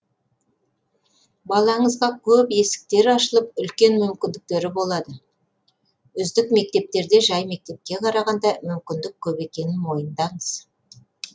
балаңызға көп есіктер ашылып үлкен мүмкіндіктері болады үздік мектептерде жай мектепке қарағанда мүмкіндіктер көп екенін мойындаңыз